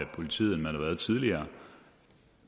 politiet end man har været tidligere